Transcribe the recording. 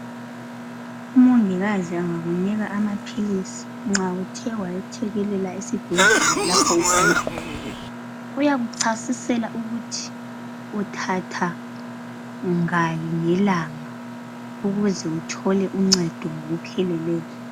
Umongikazi angakunika amaphilisi nxa uthe wayethekelela esibhedlela lapho ugula uyakuchasisela ukuthi uthatha ngaki ngelanga ukuze uthole uncedo ngokuphilileyo.